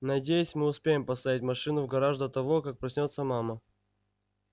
надеюсь мы успеем поставить машину в гараж до того как проснётся мама